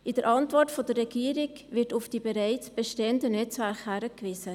In der Antwort der Regierung wird auf die bereits bestehenden Netzwerke hingewiesen.